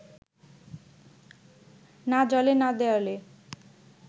না জলে না দেয়ালে